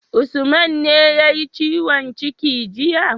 Usman ne yayi ciwon ciki jiya?